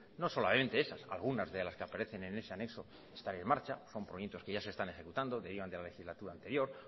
no solamente esas algunas de las que aparecen en ese anexo están en marcha son proyectos que ya se están ejecutando derivan de la legislatura anterior